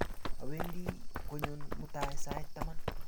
Awendi konyon mutai sait taman